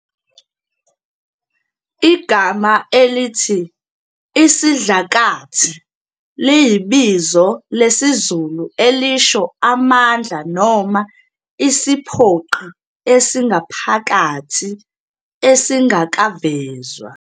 Igama elithi "isidlakathi" liyibizo lesizulu elisho amandla noma isiphoqi esingaphakathi, esingakavezwa.